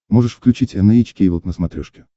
можешь включить эн эйч кей волд на смотрешке